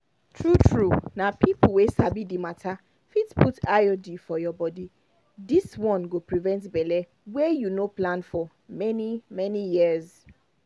true-true na people wey sabi the matter fit put iud for your body this one go prevent belle wey you no plan for for many-many years.